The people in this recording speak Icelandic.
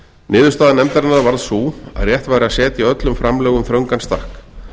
niðurstaða nefndarinnar varð sú að rétt væri að setja öllum framlögum þröngan stakk